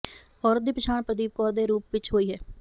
ਔਰਤ ਦੀ ਪਛਾਣ ਪ੍ਰਦੀਪ ਕੌਰ ਦੇ ਰੂਪ ਵਿੱਚ ਹੋਈ ਹੈ